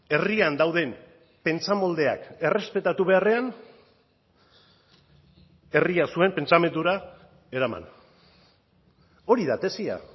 herrian dauden pentsamoldeak errespetatu beharrean herria zuen pentsamendura eraman hori da tesia